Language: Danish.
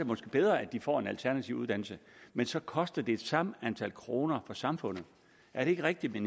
måske bedre at de får en alternativ uddannelse men så koster det det samme antal kroner for samfundet er det ikke rigtigt vil